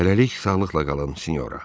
Hələlik sağlıqla qalın, sinyora.